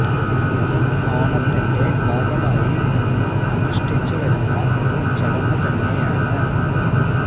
ഇതും ഓണത്തിന്റെ ഭാഗമായി ഇന്നും അനുഷ്ഠിച്ച് വരുന്ന ഒരു ചടങ്ങ് തന്നെയാണ്